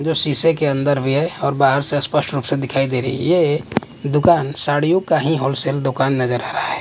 जो शीशे के अंदर भी है और बाहर से स्पष्ट रूप से दिखाई दे रही है ये दुकान साड़ियों का ही होलसेल दुकान नजर आ रहा है।